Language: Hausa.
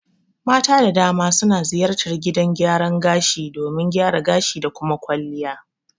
Mata da dama suna ziyartar gidan gyaran gashi domin gyara gashi da kuma kwalliya